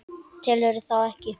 Telurðu þá ekki?